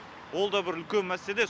ол да бір үлкен мәселе